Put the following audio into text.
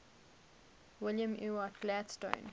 william ewart gladstone